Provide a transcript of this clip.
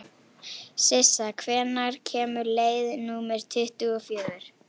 Sissa, hvenær kemur leið númer tuttugu og fjögur?